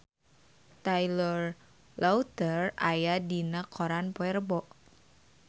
Taylor Lautner aya dina koran poe Rebo